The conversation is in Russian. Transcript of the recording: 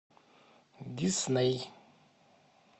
дисней